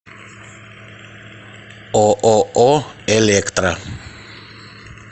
ооо электра